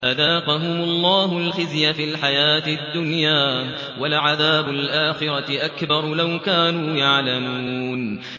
فَأَذَاقَهُمُ اللَّهُ الْخِزْيَ فِي الْحَيَاةِ الدُّنْيَا ۖ وَلَعَذَابُ الْآخِرَةِ أَكْبَرُ ۚ لَوْ كَانُوا يَعْلَمُونَ